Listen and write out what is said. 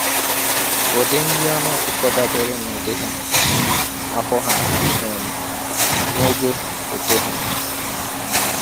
Ụdị nri anụ ọkụkọ dabere n'ụdị ha, afọ ha, um na ogo eto ha.